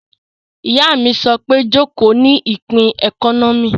Ìyá mi sọ pé 'Jòkó ní ìpín ẹkọ́nọ́mì'